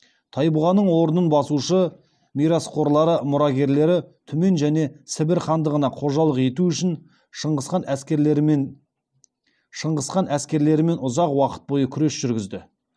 тайбұғаның орнын басушы мирасқорлары мұрагерлері түмен және сібір хандығына қожалық ету үшін шыңғысхан әскерлерімен ұзақ уақыт бойы күрес жүргізді